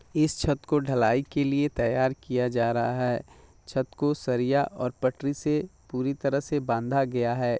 इस छत को ढलाई के लिए तैयार किया जा रहा है छत को सरिया और पटरी से पूरी तरह से बांधा गया है।